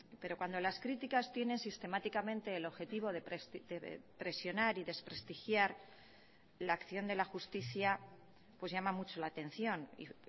pero cuando las críticas tienen sistemáticamente el objetivo de presionar y desprestigiar la acción de la justicia pues llama mucho la atención y